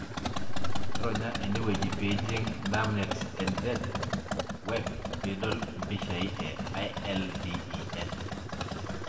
Ronya eneweji pijing DermNetNZ Web pidol mpishai e ILVEN.